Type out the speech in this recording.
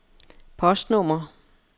postnummer